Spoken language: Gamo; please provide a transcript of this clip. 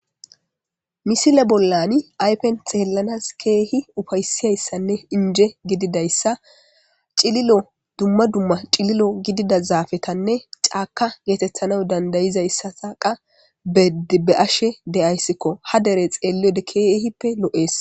Misile bollani aypen xeellanas keehi ufaysiyayssanne inje gididayssa cililo dumma dumma cililo gidida zaafetanne caaka geetethana dandayizayssataqa be'she de'sikko ha dere xeelliode keehippe lo7ees.